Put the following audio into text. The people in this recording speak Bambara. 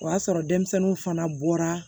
O y'a sɔrɔ denmisɛnninw fana bɔra